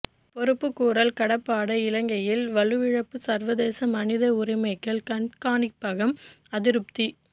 பொறுப்புக்கூறல் கடப்பாடு இலங்கையில் வலுவிழப்பு சர்வதேச மனித உரிமைகள் கண்காணிப்பகம் அதிருப்தி